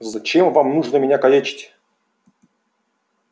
зачем вам нужно меня калечить